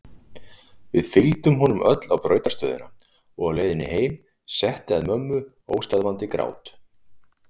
Við fylgdum honum öll á brautarstöðina og á leiðinni heim setti að mömmu óstöðvandi grát.